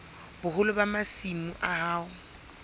boholo ba masimo a hao